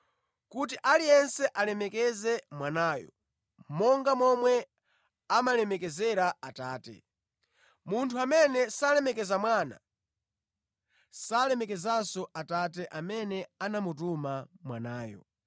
kuti aliyense alemekeze Mwanayo monga momwe amalemekezera Atate. Munthu amene salemekeza Mwana salemekezanso Atate amene anamutuma Mwanayo.